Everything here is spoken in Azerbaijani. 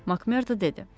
Makmerda dedi.